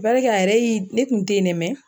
a yɛrɛ y'i , ne kun te yen dɛ